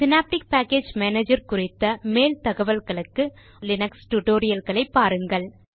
synaptic package manager குறித்த மேல் தகவல்களுக்கு லினக்ஸ் டுடோரியல்களை பாருங்கள்